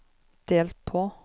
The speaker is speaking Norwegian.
delt på